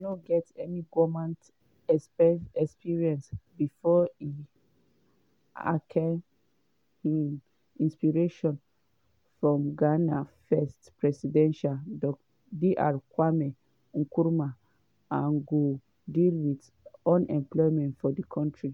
no get any goment experience bifor e ake um inspiration from ghana’s first president dr kwame nkrumah and go deal wit unemployment for di kontri.